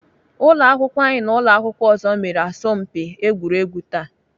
Ụlọakwụkwọ anyị na ụlọakwụkwọ ọzọ mere asọmpi egwuregwu taa